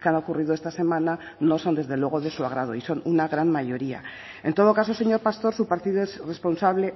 que han ocurrido esta semana no son desde luego de su agrado y son una gran mayoría en todo caso señor pastor su partido es responsable